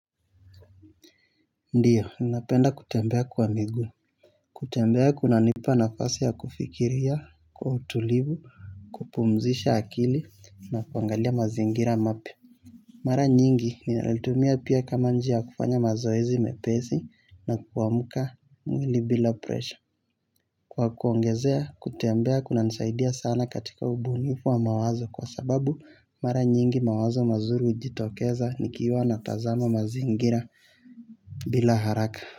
Ndio, ninapenda kutembea kwa miguu, kutembea kuna nipa nafasi ya kufikiria, kwa utulivu, kupumzisha akili, na kuangalia mazingira mapya. Mara nyingi, ninalitumia pia kama njia ya kufanya mazoezi mepesi na kuamka mwili bila presha. Kwa kuongezea, kutembea kunanisaidia sana katika ubunifu wa mawazo kwa sababu, mara nyingi mawazo mazuri hujitokeza nikiwa natazama mazingira bila haraka.